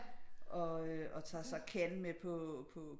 Og tager så Ken med på